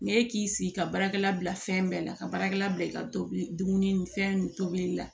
N'e k'i sigi ka baarakɛla bila fɛn bɛɛ la ka baarakɛla bila i ka tobili ni fɛn nun tobili la